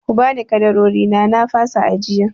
Ku bani ƙadarorina na fasa ajiyan!